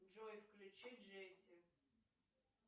джой включи джесси